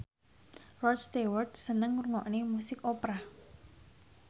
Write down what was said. Rod Stewart seneng ngrungokne musik opera